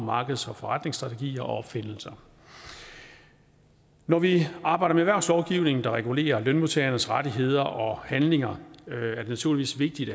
markeds og forretningsstrategier og opfindelser når vi arbejder med erhvervslovgivning der regulerer lønmodtagernes rettigheder og handlinger er det naturligvis vigtigt